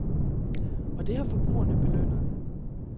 Og det har forbrugerne belønnet.